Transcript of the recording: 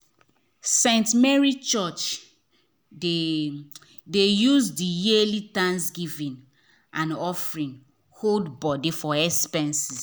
st. mary church dey dey use the yearly thanksgiving and offering hold body for expenses.